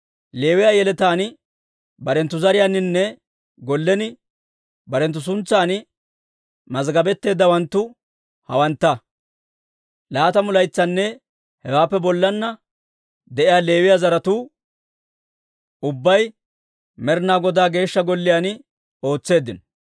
Leewiyaa yeletaan barenttu zariyaaninne gollen barenttu suntsan mazggabetteeddawanttu hawantta; laatamu laytsanne hewaappe bollanna de'iyaa Leewiyaa zaratuu ubbay Med'inaa Godaa Geeshsha Golliyaan ootseeddino.